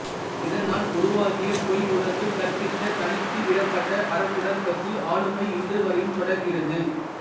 இதனால் உருவாகிய பொய்யுணர்வு கற்பித்த தனித்துவிடப்பட்ட அரிசுடார்க்கசு ஆளுமை இன்றுவரையும் தொடர்கிறது